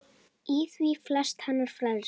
Í því felst hennar frelsi.